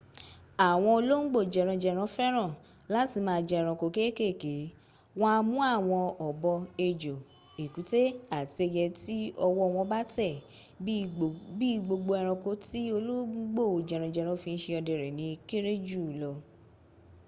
àwọn olóńgbò jẹranjẹran féràn láti ma jẹ ẹranko kekeke. wọn a mú àwọn ọ̀bọ ejò ẹ̀kútẹ́ àti ẹyẹ tí ọwọ́ wọn bá tẹ̀. bí i gbogbo ẹranko ti olóńgbo jẹranjẹran fi n ṣe ọdẹ rẹ ni o kẹ́rẹ́ juu lọ